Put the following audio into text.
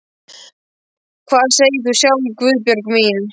Hvað segir þú sjálf, Guðbjörg mín?